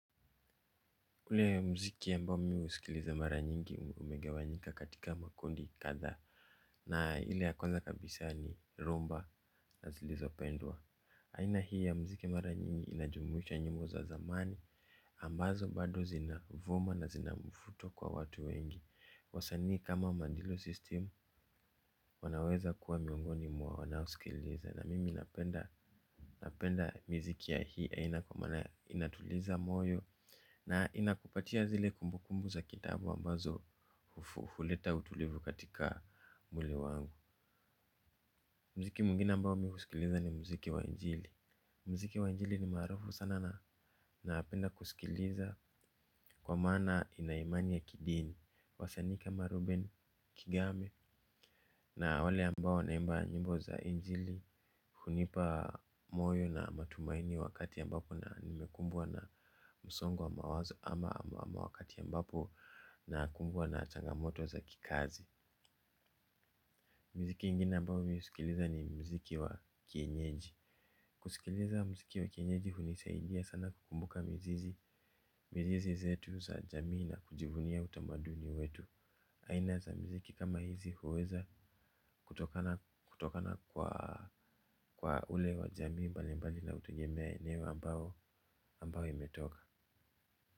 Ule mziki ambao mimi husikiliza mara nyingi umegawanyika katika makundi kathaa. Na ile ya kwanza kabisa ni rumba na zilizopendwa. Aina hii ya mziki mara nyingi inajumuisha nyimbo za zamani ambazo bado zinavuma na zinamfuto kwa watu wengi wasanii kama mandilo system wanaweza kuwa miongoni mwa wanaosikiliza na mimi napenda. Napenda miziki ya hii aina kwa maana inatuliza moyo. Na inakupatia zile kumbu kumbu za kitambo ambazo huleta utulivu katika mwili wangu. Mziki mwingine ambao mihusikiliza ni mziki wa injili. Mziki wa injili ni maarufu sana na napenda kusikiliza kwa maana inaimani ya kidini. Wasani ikama ruben kigame na wale ambao wanaimba nyimbo za injili. Hunipa moyo na matumaini wakati ambapo na nimekumbwa na msongo wa mawazo ama ama wakati ambapo na kumbwa na changamoto za kikazi. Miziki ingine ambao mihusikiliza ni mziki wa kienyeji. Kusikiliza mziki wa kienyeji hunisaidia sana kukumbuka mzizi. Mizizi zetu za jamii na kujivunia utamaduni wetu. Aina za mziki kama hizi huweza kutokana kwa ule wa jamii mbali mbali na hutugemea eneo ambao ambayo imetoka.